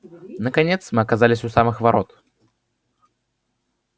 наконец мы оказались у самых ворот